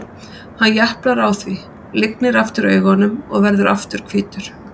Hann japlar á því, lygnir aftur augunum og verður aftur hvítur.